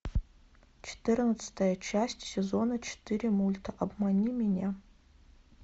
четырнадцатая часть сезона четыре мульта обмани меня